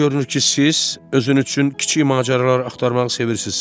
Belə görünür ki, siz özünüz üçün kiçik macəralar axtarmağı sevirsiz.